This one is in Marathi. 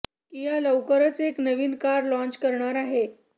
किआ लवकरच एक नवीन कार लाँच करणार आहे